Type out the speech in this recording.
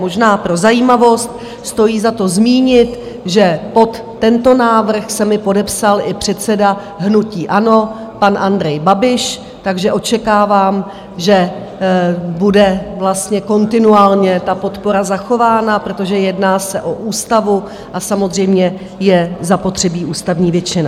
Možná pro zajímavost stojí za to zmínit, že pod tento návrh se mi podepsal i předseda hnutí ANO pan Andrej Babiš, takže očekávám, že bude vlastně kontinuálně ta podpora zachována, protože se jedná o ústavu a samozřejmě je zapotřebí ústavní většina.